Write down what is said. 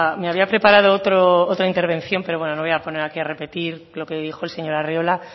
me había preparado otra intervención pero bueno no voy a poner aquí a repetir lo que dijo el señor arriola